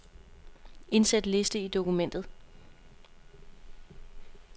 Indsæt liste i dokumentet.